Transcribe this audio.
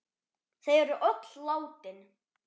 Þau eru öll látin.